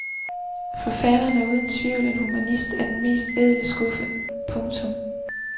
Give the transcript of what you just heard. Forfatteren er uden tvivl en humanist af den mest ædle skuffe. punktum